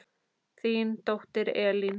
Þín dóttir Elín.